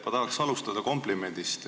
Ma tahan alustada komplimendist.